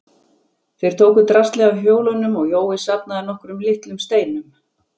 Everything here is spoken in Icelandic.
Þeir tóku draslið af hjólunum og Jói safnaði nokkrum litlum steinum.